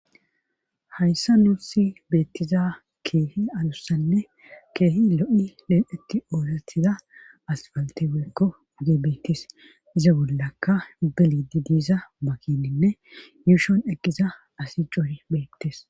hayssa nusi beettiza keehi adussanne keehi lo7i leenetti oolatiza aspalte weekko uge beettis iza bollaka beliidi diiza makininne yuushon eqqiza asi coore beettes